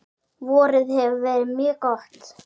Vorið hefur verið mjög gott.